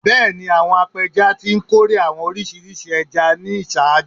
Bẹẹni, awọn apẹja ti nkore awọn oriṣi ẹja ni iṣaaju